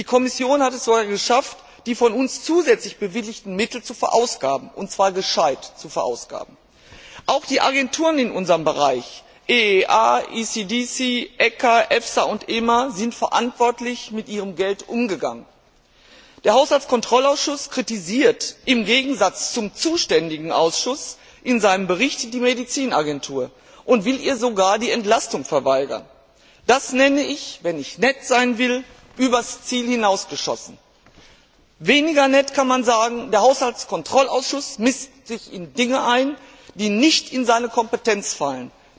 Die Kommission hat es geschafft, die von uns zusätzlich bewilligten Mittel zu verausgaben, und zwar sinnvoll zu verausgaben. Auch die Agenturen in unserem Bereich EEA, ECDC, ECA, EFSA und EMA sind verantwortungsvoll mit ihrem Geld umgegangen. Der Haushaltskontrollausschuss kritisiert im Gegensatz zum zuständigen Ausschuss in seinem Bericht die Arzneimittel Agentur und will ihr sogar die Entlastung verweigern. Das nenne ich, wenn ich nett sein will, übers Ziel hinausgeschossen. Weniger nett kann man sagen, der Haushaltskontrollausschuss mischt sich in Dinge ein, die nicht in seine Kompetenz fallen.